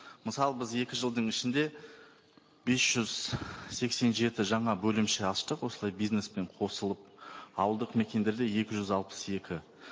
мысалы біз екі жылдың ішінде бес жүз сексен жеті жаңа бөлімше аштық осылай бизнеспен қосылып ауылдық мекендерде екі жүз алпыс екі